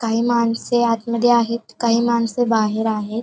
काही माणसे आतमध्ये आहेत काही माणसे बाहेर आहेत.